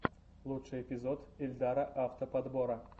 лучший эпизод ильдара авто подбора